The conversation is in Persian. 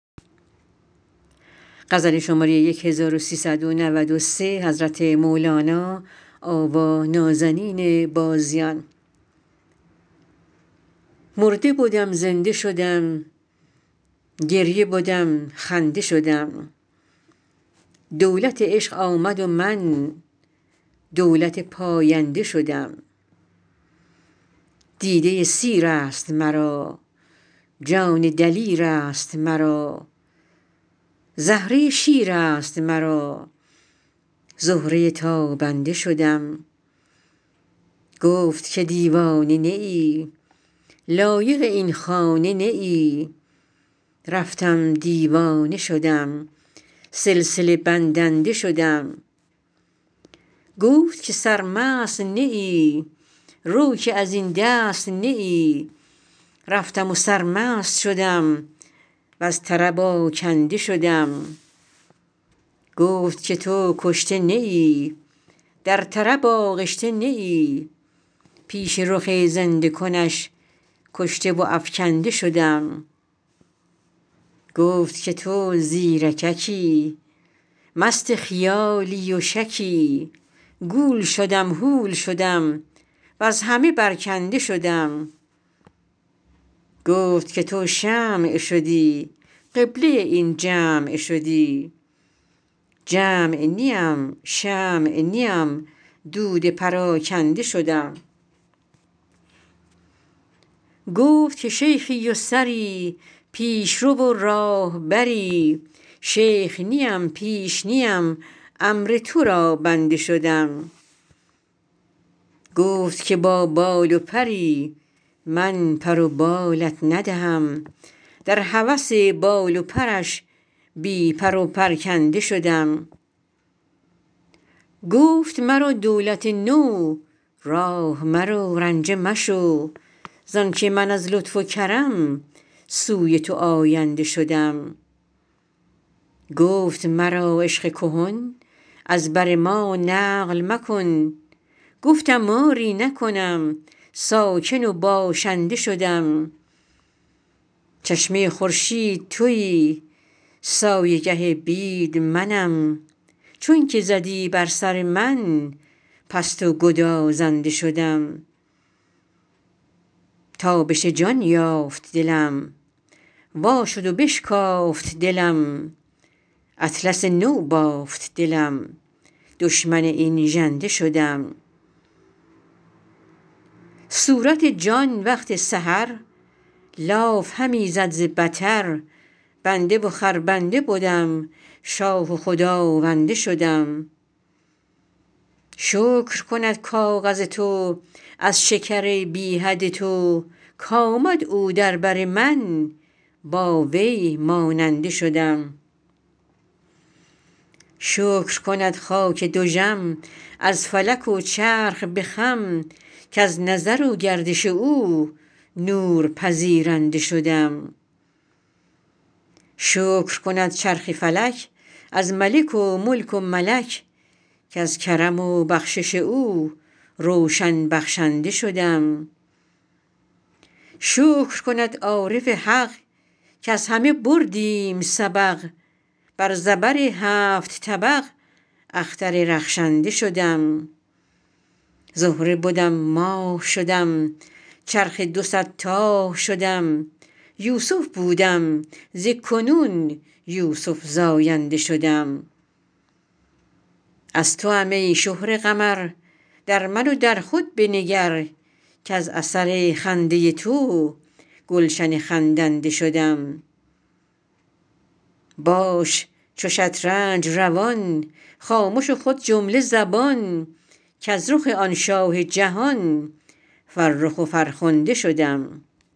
مرده بدم زنده شدم گریه بدم خنده شدم دولت عشق آمد و من دولت پاینده شدم دیده سیر است مرا جان دلیر است مرا زهره شیر است مرا زهره تابنده شدم گفت که دیوانه نه ای لایق این خانه نه ای رفتم دیوانه شدم سلسله بندنده شدم گفت که سرمست نه ای رو که از این دست نه ای رفتم و سرمست شدم وز طرب آکنده شدم گفت که تو کشته نه ای در طرب آغشته نه ای پیش رخ زنده کنش کشته و افکنده شدم گفت که تو زیرککی مست خیالی و شکی گول شدم هول شدم وز همه برکنده شدم گفت که تو شمع شدی قبله این جمع شدی جمع نیم شمع نیم دود پراکنده شدم گفت که شیخی و سری پیش رو و راهبری شیخ نیم پیش نیم امر تو را بنده شدم گفت که با بال و پری من پر و بالت ندهم در هوس بال و پرش بی پر و پرکنده شدم گفت مرا دولت نو راه مرو رنجه مشو زانک من از لطف و کرم سوی تو آینده شدم گفت مرا عشق کهن از بر ما نقل مکن گفتم آری نکنم ساکن و باشنده شدم چشمه خورشید تویی سایه گه بید منم چونک زدی بر سر من پست و گدازنده شدم تابش جان یافت دلم وا شد و بشکافت دلم اطلس نو بافت دلم دشمن این ژنده شدم صورت جان وقت سحر لاف همی زد ز بطر بنده و خربنده بدم شاه و خداونده شدم شکر کند کاغذ تو از شکر بی حد تو کآمد او در بر من با وی ماننده شدم شکر کند خاک دژم از فلک و چرخ به خم کز نظر و گردش او نور پذیرنده شدم شکر کند چرخ فلک از ملک و ملک و ملک کز کرم و بخشش او روشن بخشنده شدم شکر کند عارف حق کز همه بردیم سبق بر زبر هفت طبق اختر رخشنده شدم زهره بدم ماه شدم چرخ دو صد تاه شدم یوسف بودم ز کنون یوسف زاینده شدم از توام ای شهره قمر در من و در خود بنگر کز اثر خنده تو گلشن خندنده شدم باش چو شطرنج روان خامش و خود جمله زبان کز رخ آن شاه جهان فرخ و فرخنده شدم